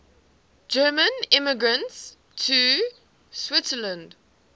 german immigrants to switzerland